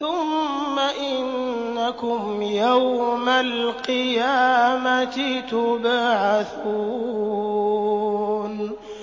ثُمَّ إِنَّكُمْ يَوْمَ الْقِيَامَةِ تُبْعَثُونَ